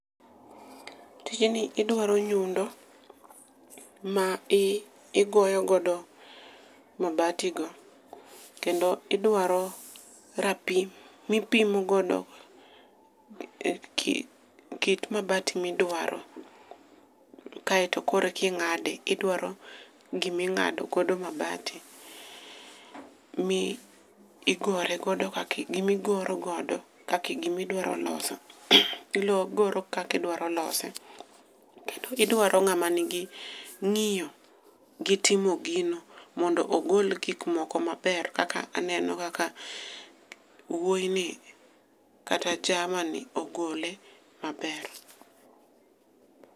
Tijni idwaro nyundo ma igoyogodo mabatigo kendo idwaro rapim mipimo godo kit mabati midwaro kaeto koro eki ng'ade, idwaro giming'adogodo mabati gi migoro godo gimidwaro loso, igoro kakidwaro lose kendo ng'ama nigi ng'iyo gi timo gino mondo ogol gikmoko maber kaka aneno kaka wuoyini kata jamani ogole maber.